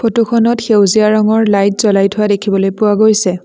ফটোখনত সেউজীয়া ৰঙৰ লাইট জ্বলাই থোৱা দেখিবলৈ পোৱা গৈছে।